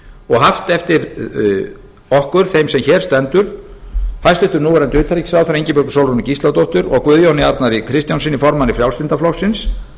og haft eftir okkur þeim sem hér stendur hæstvirtur núv utanríkisráðherra ingibjörgu sólrúnu gísladóttur og guðjóni arnari kristjánssyni formanni frjálslynda flokksins